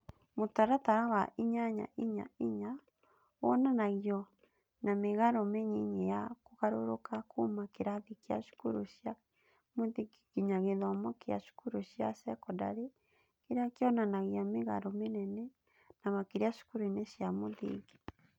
Mũtaratara wa inyanya inya inya (8.4.4) wonanagio na mĩgarũ mĩnyinyi ya kũgarũrũka kuuma kĩrathi kĩa cukuru cia mũthingi nginya gĩthomo gĩa cukuru cia sekondarĩ, kĩrĩa kĩonanagia mĩgarũ mĩnene, na makĩria cukuru-inĩ cia mũthingi.